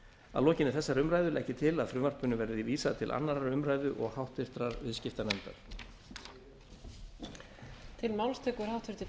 að lokinni þessari umræðu legg ég til að frumvarpinu verði vísað til annarrar umræðu og háttvirtur